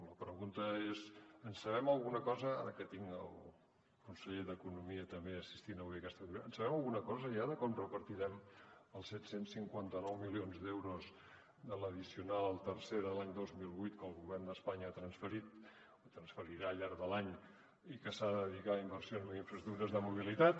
la pregunta és en sabem alguna cosa ara que tinc el conseller d’economia també assistint avui a aquesta reunió de com repartirem els set cents i cinquanta nou milions d’euros de l’addicional tercera de l’any dos mil vuit que el govern d’espanya ha transferit o transferirà al llarg de l’any i que s’ha de dedicar a inversions en infraestructures de mobilitat